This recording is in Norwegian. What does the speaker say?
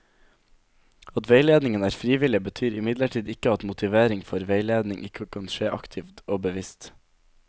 At veiledningen er frivillig, betyr imidlertid ikke at motivering for veiledning ikke kan skje aktivt og bevisst.